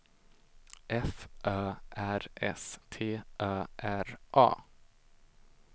F Ö R S T Ö R A